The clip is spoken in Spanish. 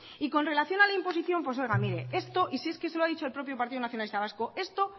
y con relación a la imposición pues oiga mire esto y si es que se lo ha dicho el propio partido nacionalista vasco esto